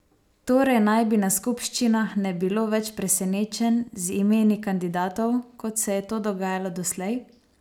Torej naj bi na skupščinah ne bilo več presenečenj z imeni kandidatov, kot se je to dogajalo doslej?